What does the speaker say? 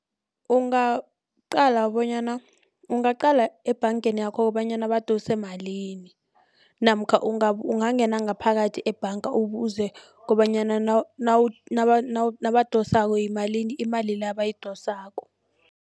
Ungaqale bonyana ungaqala ebhangeni yakho kobanyana badose malini namkha ungangena ngaphakathi ebhanga ubuze kobanyana nabadosako yimalini imali leyo abayidosako.